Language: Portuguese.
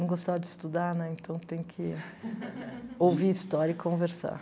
Não gostava de estudar, né, então tem que ouvir história e conversar.